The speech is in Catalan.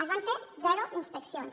es van fer zero inspeccions